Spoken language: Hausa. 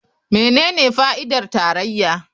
Menene fa'idar tarayya?